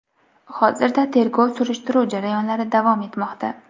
Hozirda tergov surishtiruv jarayonlari davom etmoqda.